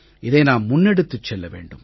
இதை நாம் முன்னெடுத்துச் செல்ல வேண்டும்